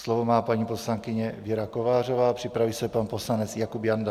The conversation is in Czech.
Slovo má paní poslankyně Věra Kovářová, připraví se pan poslanec Jakub Janda.